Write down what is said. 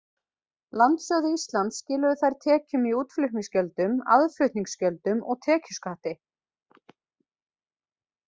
Landsjóði Íslands skiluðu þær tekjum í útflutningsgjöldum, aðflutningsgjöldum og tekjuskatti.